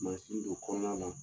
Mansin don kɔnɔna na